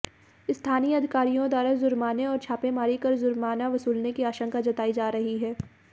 स्थानीय अधिकारियों द्वारा जुर्माने और छापेमारी कर जुर्माना वसूलने की आशंका जताई जा रही है